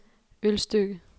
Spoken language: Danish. Ølstykke